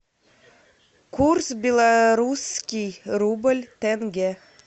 курс белорусский рубль тенге